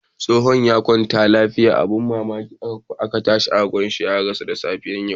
Tsofon ya kwanta lafiya lau. Abin mamaki sai aka gani ya rasu da safiyan yau.